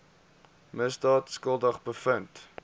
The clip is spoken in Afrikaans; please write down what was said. misdaad skuldig bevind